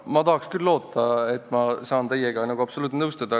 Ma tahaks küll loota, et saan teiega nõustuda.